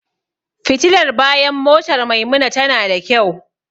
Fitilar bayan motar Maimuna tana da kyau.